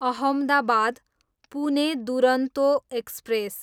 Ahmedabad, Pune Duronto express